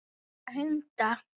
En mig dreymdi illa.